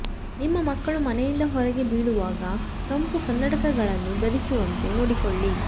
ನಿಮ್ಮ ಮಕ್ಕಳು ಮನೆಯಿಂದ ಹೊರಗೆ ಬೀಳುವಾಗ ತಂಪು ಕನ್ನಡಕಗಳನ್ನು ಧರಿಸಿರುವಂತೆ ನೋಡಿಕೊಳ್ಳಿ